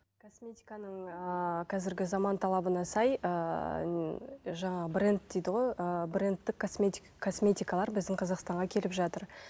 косметиканың ыыы қазіргі заман талабына сай ыыы жаңағы бренд дейді ғой ыыы брендтік косметикалар біздің қазақстанға келіп жатыр